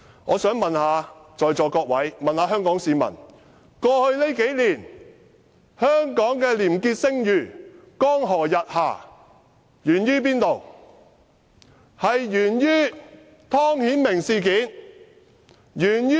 我想問在座各位和香港市民，數年來，香港的廉潔聲譽江河日下，原因何在？